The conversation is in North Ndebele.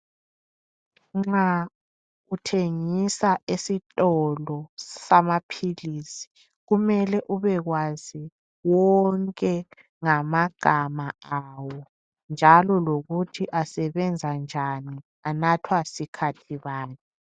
Nxa uthengisa esitolo samaphilisi kumele ubekwazi wonke ngamagama awo, njalo lokuthi asebenza njani, anathwa sikhathi bani.